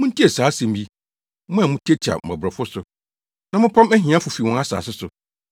Muntie saa asɛm yi, mo a mutiatia mmɔborɔfo so, na mopam ahiafo fi wɔn asase so,